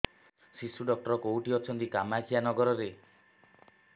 ଶିଶୁ ଡକ୍ଟର କୋଉଠି ଅଛନ୍ତି କାମାକ୍ଷାନଗରରେ